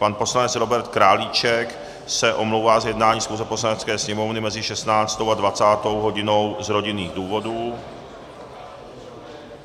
Pan poslanec Robert Králíček se omlouvá z jednání schůze Poslanecké sněmovny mezi 16. a 20. hodinou z rodinných důvodů.